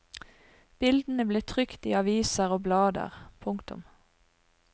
Bildene ble trykt i aviser og blader. punktum